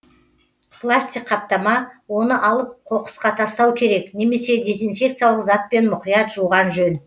пластик қаптама оны алып қоқысқа тастау керек немесе дезинфекциялық затпен мұқият жуған жөн